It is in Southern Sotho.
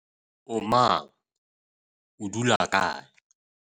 o mang, o dula kae?